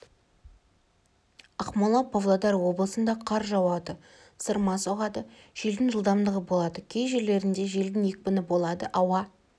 ақмола павлодар облысында қар жауады сырма соғады желдің жылдамдығы болады кей жерлерінде желдің екпіні болады ауа